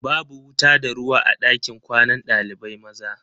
Babu wuta da ruwa a ɗakin kwanan ɗalibai maza.